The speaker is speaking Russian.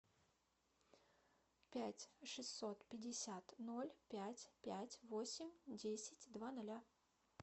пять шестьсот пятьдесят ноль пять пять восемь десять два ноля